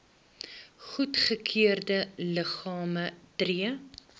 goedgekeurde liggame tree